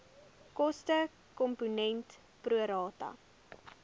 kostekomponent pro rata